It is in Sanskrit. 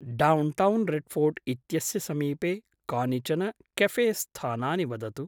डौन्टौन् रेड्फ़ोर्ट् इत्यस्य समीपे कानिचन कॆफेस्थानानि वदतु।